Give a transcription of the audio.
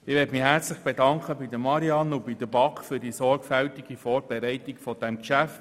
Ich möchte mich herzlich bei Marianne Dumermuth und der BaK für die sorgfältige Vorbereitung dieses Geschäfts bedanken.